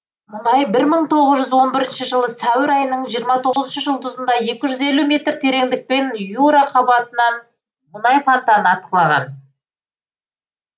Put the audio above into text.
мұнай бір мың тоғыз жүз он бірінші жылы сәуір айынын жиырма тоғызыншы жұлдызында екі жүз елу метр тереңдіктен юра қабатынан мұнай фантаны атқылаған